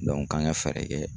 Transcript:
k'an ka fɛɛrɛ kɛ